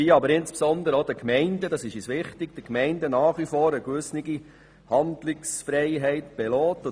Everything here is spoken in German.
Für die Gemeinden soll nach wie vor eine gewisse Handlungsfreiheit bestehen.